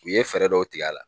U ye fɛɛrɛ dɔw tigɛ a la